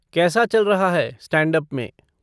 कैसा चल रहा है स्टैंड अप में?